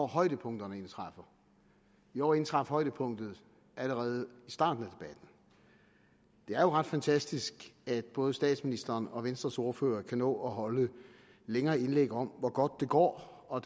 højdepunkterne indtræffer i år indtraf højdepunkt allerede i starten af er jo ret fantastisk at både statsministeren og venstres ordfører kan nå at holde længere indlæg om hvor godt det går og